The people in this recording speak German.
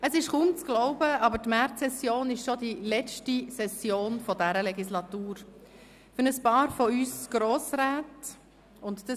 Es ist kaum zu glauben, aber die Märzsession ist schon die letzte Session dieser Legislaturperiode.